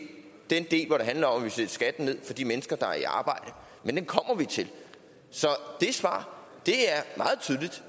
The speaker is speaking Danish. den del hvor det handler om at vi sætter skatten ned for de mennesker der er i arbejde men den kommer vi til så svaret